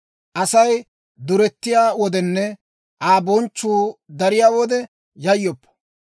Asay durettiyaa wodenne, Aa bonchchuu dariyaa wode yayyoppa.